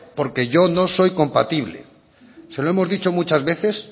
porque yo no soy compatible se lo hemos dicho muchas veces